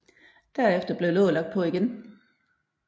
Derefter blev låget lagt på igen